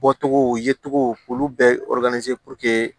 Bɔcogow ye cogo olu bɛɛ ye